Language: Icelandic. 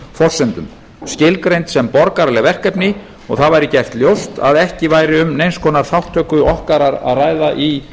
forsendum skilgreind sem borgaraleg verkefni og það væri gert ljóst að ekki væri um neins konar þátttöku okkar að ræða í